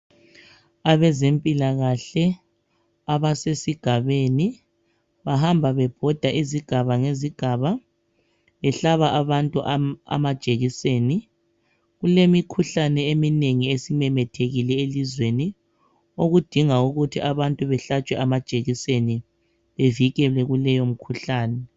Abezempilakahle abasesigabeni bahamba bebhoda esigabeni behlaba abantu amajekiseni kulemikhuhlane eminengi esimemethekile elizweni okudinga ukuthi abantu behlatshwe amajekiseni bevikelwe kuleyi mkhuhlane